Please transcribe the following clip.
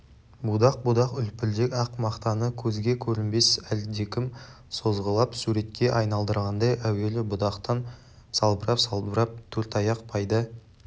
будақ-будақ үлпілдек ақ мақтаны көзге көрінбес әлдекім созғылап суретке айналдырғандай әуелі будақтан салбырап-салбырап төрт аяқ пайда